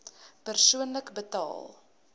persoonlik betaal